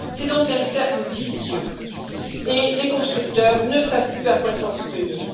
C'est donc un cercle vicieux et les constructeurs ne savent plus à quoi s'en tenir.